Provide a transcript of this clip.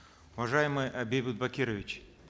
уважаемый э бейбит бакирович